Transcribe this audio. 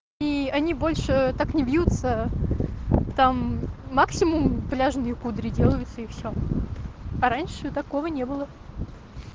и они больше так не вьются там максимум пляжные кудри делаются и всё а раньше такого не было